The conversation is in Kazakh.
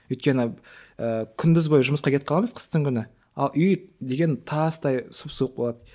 өйткені ііі күндіз бойы жұмысқа кетіп қаламыз қыстың күні ал үй деген тастай сұп суық болады